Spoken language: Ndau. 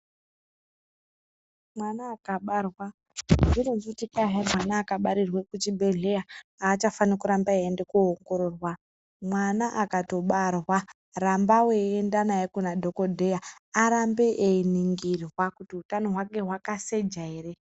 Mwana akabarwa azvironzi kut kwai hayi mwana akabarirwe kuchibedhlera hachafani kuramba eyiyende koongororwa mwana akato barwa ramba weienda naye kuna dhokodheya arambe eyiningirwa kuti hutano hwake hwakaseja here.